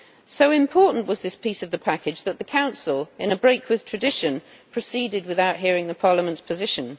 So important was this piece of the package that the Council, in a break with tradition, proceeded without hearing Parliament's position.